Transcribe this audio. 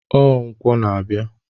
Ọ nkwọ na-abịa.